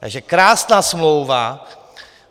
Takže krásná smlouva.